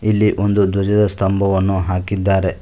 ಇಲ್ಲಿ ಒಂದು ಧ್ವಜದ ಸ್ತಂಭವನ್ನು ಹಾಕಿದ್ದಾರೆ.